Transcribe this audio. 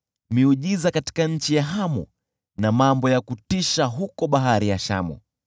miujiza katika nchi ya Hamu na mambo ya kutisha huko Bahari ya Shamu.